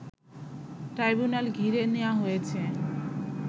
tribunal ঘিরে নেয়া হয়েছে